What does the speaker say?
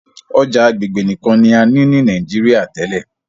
ọjà agbegbe nìkàn ní a ní ní Nàìjíríà tèlé.